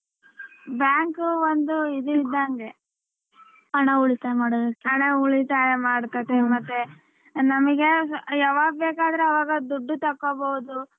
Bank ಒಂದು ಇದಿದ್ದಂಗೆ ಹಣ ಉಳಿತಾಯ ಮಾಡೋದಕ್ಕೆ ಹಣ ಉಳಿತಾಯ ಮಾಡಕೋತಿವಿ ಮತ್ತೆ ನಮ್ಗೆ ಯಾವಾಗ್ ಬೇಕಾದ್ರೆ ಅವಾಗ ದುಡ್ಡು ತಕ್ಕೊಬೋದು.